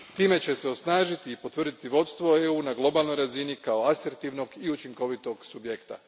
Time će se osnažiti i potvrditi vodstvo EU a na globalnoj razini kao asertivnog i učinkovitog subjekta.